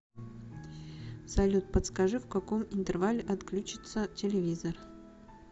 салют подскажи в каком интервале отключится телевизор